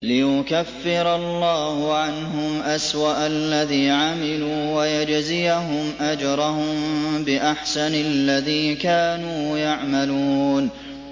لِيُكَفِّرَ اللَّهُ عَنْهُمْ أَسْوَأَ الَّذِي عَمِلُوا وَيَجْزِيَهُمْ أَجْرَهُم بِأَحْسَنِ الَّذِي كَانُوا يَعْمَلُونَ